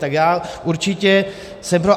Tak já určitě jsem pro.